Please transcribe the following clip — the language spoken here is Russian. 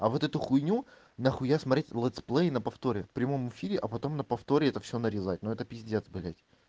а вот эту хуйню нахуя смотреть летсплей на повторе в прямом эфире а потом на повторе это всё нарезать но это пиздец блядь